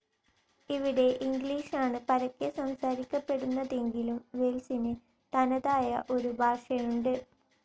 ഇവിടെ ഇംഗ്ലീഷാണ് പരക്കെ സംസാരിക്കപ്പെടുന്നതെങ്കിലും വേൽസിനു തനതായ ഒരു ഭാഷയുണ്ട്.